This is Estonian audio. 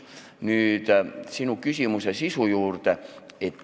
Nüüd sinu küsimuse sisu juurde.